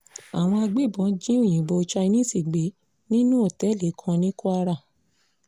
àwọn agbébọn jí òyìnbó chinese gbé nínú òtẹ́ẹ̀lì kan ní kwara